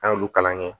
An y'olu kalan kɛ